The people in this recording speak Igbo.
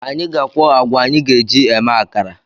Anyị ga-akwu agwa anyị ga-eji eme akara